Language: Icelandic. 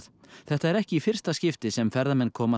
þetta er ekki í fyrst skipti sem ferðamenn koma